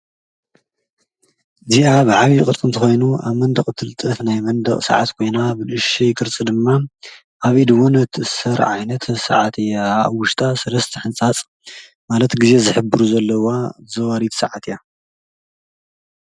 እዚኣ ብዓብይ ቅርፂ ኾይኑ ኣብ መንደቕ እትልጠፍ ናይ መንደቕ ሰዓት ኮይና ብንእሽተይ ቅርፂ ድማ ኣብ ኢድ ውን ትእሰር ዓይነት ሰዓት እያ። ኣብ ውሽጣ 3+ ሕንፃፅ ማለት ጊዜ ዝሕብሩ ዘለውዋ ዘዋሪት ሰዓት እያ።